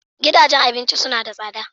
Gidajen abinci suna da tsada.